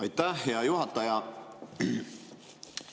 Aitäh, hea juhataja!